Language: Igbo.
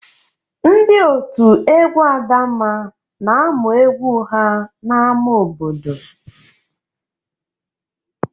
Ndị òtù egwu Adamma na-amụ egwu ha n'ámá obodo.